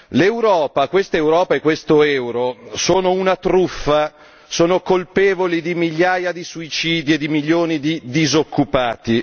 L'Europa, quest'Europa e quest'euro, sono una truffa, sono colpevoli di migliaia di suicidi e di milioni di disoccupati.